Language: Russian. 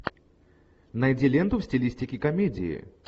найди ленту в стилистике комедии